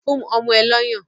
Fún ọmọ ẹ lọ́yàn!